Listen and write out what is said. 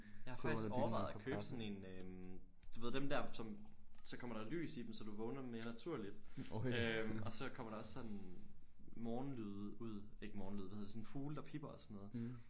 Jeg har faktisk overvejet at købe sådan en øh du ved dem der som så kommer der lys i dem så du vågner mere naturligt øh og så kommer der også sådan morgenlyde ud ikke morgenlyde hvad hedder det sådan fugle der pipper og sådan noget